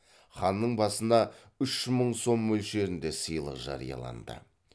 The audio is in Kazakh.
ханның басына үш мың сом мөлшерінде сыйлық жарияланды